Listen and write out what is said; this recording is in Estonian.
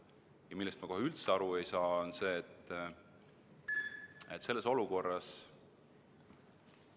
Ja millest ma kohe üldse aru ei saa, on see, et selles olukorras ...